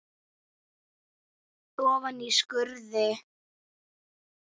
Ofan í skurði.